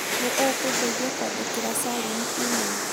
nĩ ũkũndeithia kwandĩkĩra Salim e-mail